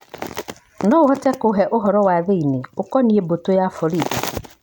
unaweza kunipa habari za ndani kuhusu jeshi la polisi